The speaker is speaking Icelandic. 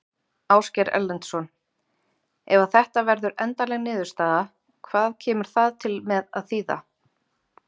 Ásgeir Erlendsson: Ef að þetta verður endanleg niðurstaða, hvað kemur það til með að þýða?